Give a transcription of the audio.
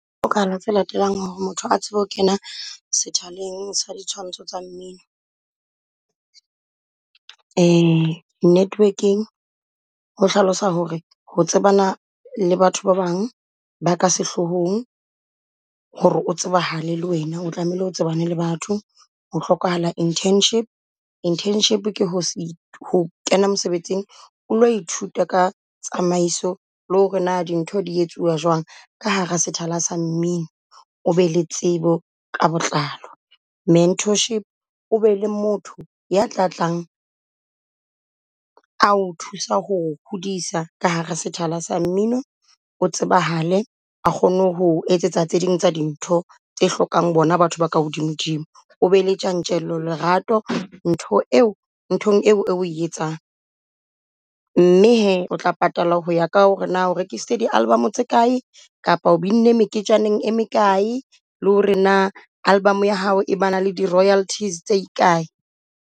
O ka latelang hore motho a tsebe ho kena sethwaleng sa di tshwantsho tsa mmino. Network-eng ho hlalosa hore ho tsebana le batho ba bang ba ka sehlohong hore o tsebahale le wena o tlamehile o tsebane le batho. Ho hlokahala Internship. Internship ke ho se ho kena mosebetsing o lo ithuta ka tsamaiso le hore na dintho di etsuwa jwang. Ka hara sethala sa mmino, o be le tsebo ka botlalo. Mentorship o be le motho ya tlatlang ao thusa ho o hodisa ka hara setjhaba sa mmino o tsebahale a kgone ho etsetsa tse ding tsa dintho tse hlokang bona batho ba ka hodimo dimo. O be le tjantjello lerato ntho eo nthong eo oe etsang. Mme hee o tla patala hoya ka hore na o rekisitse di album tse kae kapa o binne meketjana e mekae le hore na album ya hao e ba na le di royalties tse kae.